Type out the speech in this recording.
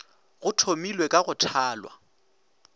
go thomilwe ka go thalwa